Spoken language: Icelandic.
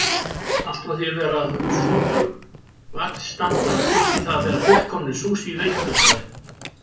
Allt frá því að vera súpuvagnsstandar upp í það að vera fullkomninr Sushi veitingastaðir.